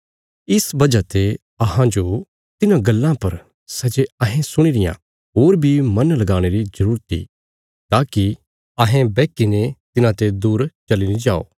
इस वजह ते अहांजो तिन्हां गल्लां पर सै जे अहें सुणी रियां होर बी मन लगाणे री जरूरत इ ताकि अहें बैहकी ने तिन्हांते दूर चली नीं जाओ